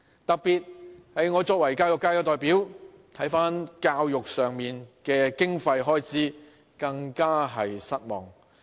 特別是我作為教育界的代表，看到政府在教育上的經費開支，更是感到失望。